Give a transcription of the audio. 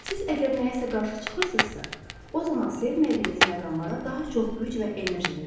Siz əgər nəyəsə qarşı çıxırsınızsa, o zaman sevmədiyiniz məqamlara daha çox güc və enerji verirsiz.